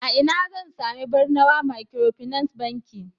a ina zan sami Barnawa microfinance Bankin